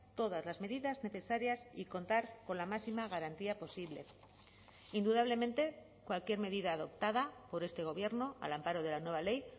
todas las medidas necesarias y contar con la máxima garantía posible indudablemente cualquier medida adoptada por este gobierno al amparo de la nueva ley